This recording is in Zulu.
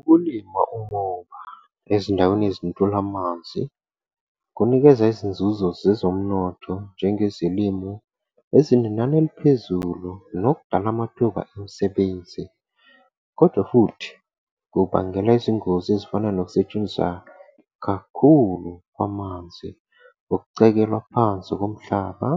Ukulima umoba ezindaweni ezintula amanzi, kunikeza izinzuzo zezomnotho njengezolimu ezinenani eliphezulu, nokudala amathuba emisebenzi. Kodwa futhi, kubangela izingozi ezifana nokusetshenziswa kakhulu kwamanzi, ukucekelwa phansi komhlaba,